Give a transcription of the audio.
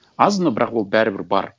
аз но бірақ ол бәрібір бар